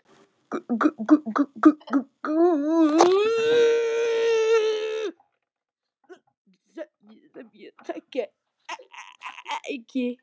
Guð sem ég þekki ekki.